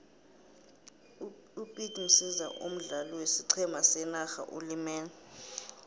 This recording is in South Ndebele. upete msiza omdlali wesiqhema senarha ulimele